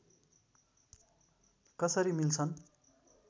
कसरी मिल्छन्